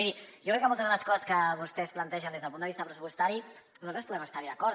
miri jo crec que moltes de les coses que vostès plantegen des del punt de vista pressupostari nosaltres poden estar hi d’acord